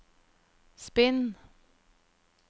spinn